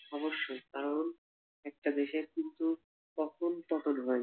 অবশ্যই কারণ একটা দেশের কিন্তু কখন পতন হয়